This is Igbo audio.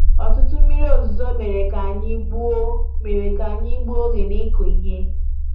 Ọtụtụ mmiri ozuzo mere k'anyi gbuo mere k'anyi gbuo oge n'ikụ ihe